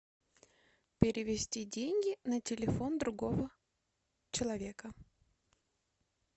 перевести деньги на телефон другого человека